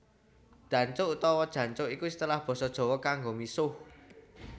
Dancuk utawa Jancuk iku istilah basa Jawa kanggo misuh